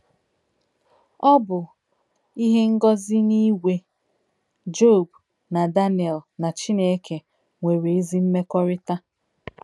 Ọ bụ ihe ngọzi na Igwe, Job na Daniel na Chineke nwere ezi mmekọrịta